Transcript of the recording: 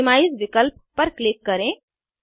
minimise विकल्प पर click करें